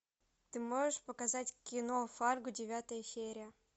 ты можешь показать кино фарго девятая серия